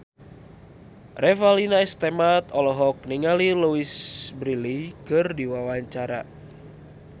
Revalina S. Temat olohok ningali Louise Brealey keur diwawancara